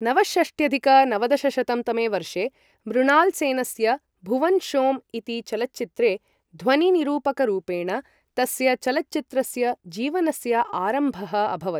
नवषष्ट्यधिक नवदशशतं तमे वर्षे मृणाल् सेनस्य भुवन शोम् इति चलच्चित्रे ध्वनि निरूपकरूपेण तस्य चलच्चित्रस्य जीवनस्य आरम्भः अभवत्।